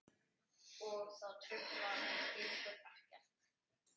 Og það truflar ykkur ekkert?